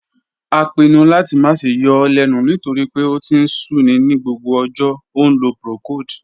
A pinnu lati ma ṣe yọ ọ lẹnu nitori pe o ti n sun ni gbogbo ọjọ, o nlo procold.